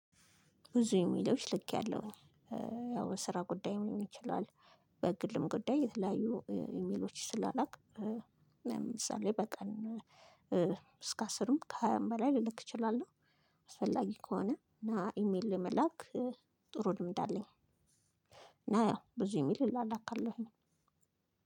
ብዙ ኢሜሎች ልኬያለሁኝ ያው ስራ ጉዳይ ሊሆን ይችላል በግልም ጉዳይ የተለያዩ ኢሜሎች ስላላክ ለምሳሌ በቀን እስከ አስርም ከሃያም በላይ ልልክ እችላለሁ። አስፈላጊ ከሆነ እና ኢሜል ለመላክ ጥሩ ልምድ አለኝ። እና ያው ብዙ ኢሜል እላላካለሁኝ።